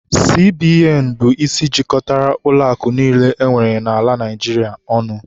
CBN bụ isi jikọtara ụlọakụ niile enwere n'ala Naịjirịa ọnụ.